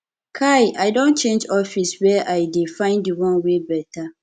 kai i don to change office were i dey find di one wey beta